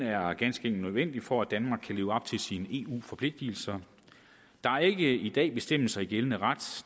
er ganske enkelt nødvendigt for at danmark kan leve op til sine eu forpligtelser der er ikke i dag bestemmelser i gældende ret